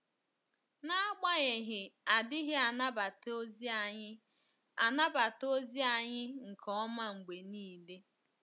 N'agbanyeghị, a dịghị anabata ozi anyị anabata ozi anyị nke ọma mgbe nile.